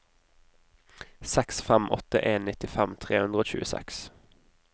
seks fem åtte en nittifem tre hundre og tjueseks